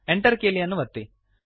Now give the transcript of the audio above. Enter ಕೀಲಿಯನ್ನು ಒತ್ತಿರಿ